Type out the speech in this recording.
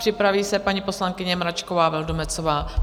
Připraví se paní poslankyně Mračková Vildumetzová.